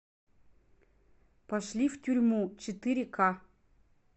пошли в тюрьму четыре ка